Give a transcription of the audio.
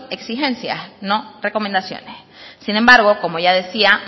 exigencias no recomendaciones sin embargo como ya decía